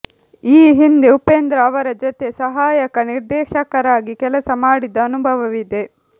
ಈ ಹಿಂದೆ ಉಪೇಂದ್ರ ಅವರ ಜೊತೆ ಸಹಾಯಕ ನಿರ್ದೇಶಕರಾಗಿ ಕೆಲಸ ಮಾಡಿದ ಅನುಭವವಿದೆ